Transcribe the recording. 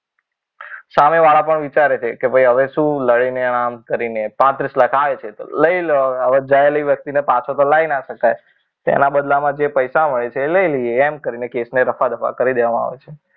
સામેવાળા પણ વિચારે છે કે ભાઈ લડીને આમ કરીને પાંત્રીસ લાખ આવે છે તો લઈ લો હવે ગયેલી વ્યક્તિને પાછી તો લાવી ન શકાય. તેના બદલામાં જે પૈસા મળે છે તે લઈ લઈએ એમ કરીને કેસને રફા દફા કરી દેવામાં આવે છે.